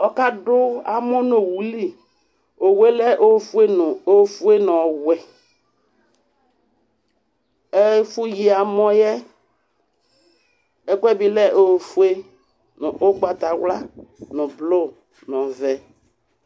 Ɔkadʋ amɔ nʋ owu li Owu yɛ lɛ ofue ofue nʋ ɔwɛ Ɛfʋyi amɔ yɛ, ɛkʋɛdɩ lɛ ofue nʋ ʋgbatawla nʋ blʋ nʋ ɔvɛ